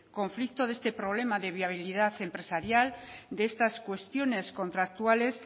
conflicto de este problema de viabilidad empresarial de estas cuestiones contractuales